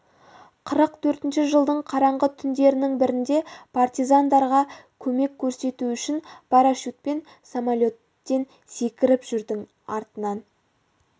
қырық төртінші жылдың қараңғы түндерінің бірінде партизан дарға көмек көрсету үшін парашютпен самолеттен секіріп жүрдің артынан